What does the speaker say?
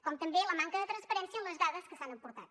com també la manca de transparència en les dades que s’han aportat